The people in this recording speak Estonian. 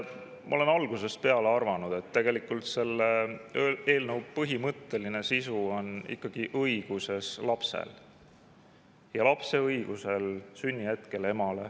Ma olen algusest peale arvanud, et selle eelnõu põhimõtteline sisu peitub ikkagi lapse õiguses, lapse õiguses emale ja isale sünnihetkel.